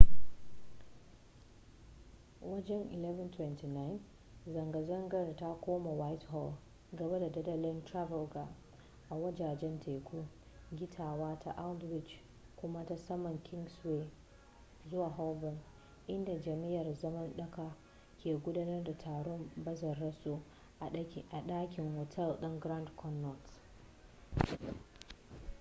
wajen 11:29 zanga-zangar ta koma whitehall gaba da dandalin trafalgar a wajajen teku gittawa ta aldwych kuma ta saman kingsway zuwa holborn inda jam'iyyar zaman dako ke gudanar da taron bazararsu a dakin otal ɗin grand connaught